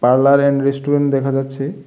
Parlour and restaurant দেখা যাচ্ছে।